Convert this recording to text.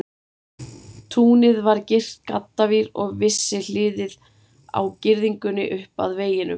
Túnið var girt gaddavír, og vissi hliðið á girðingunni upp að veginum.